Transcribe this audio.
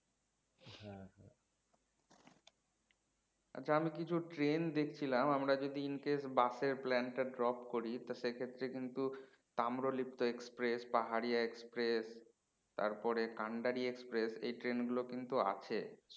আচ্ছা আমি কিছু train দেখছিলাম আমরা যদি In case bus এর plan টা drop করি তা সেক্ষেত্রে কিন্তু তাম্রলিপ্ত express পাহাড়ীয়া express তারপরে কান্ডারী express এই train গুলো কিন্তু আছে